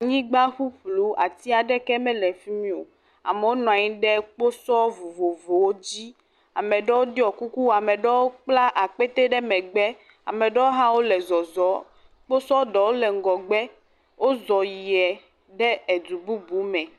Nyigba ƒuƒlu ati aɖeke mele fi mi o. Amewo nɔ anyi ɖe kposɔ vovovowo dzi. Ame ɖewo ɖɔ kuku, ame aɖewo kpla akpɛte ɖe megbe. Amea ɖewo hã wole zɔzɔm. Kposɔ ɖewo le ŋgɔgbe. Wozɔ yia ɖe edu bubu me.